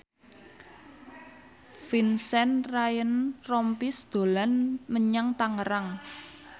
Vincent Ryan Rompies dolan menyang Tangerang